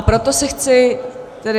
A proto se chci tedy -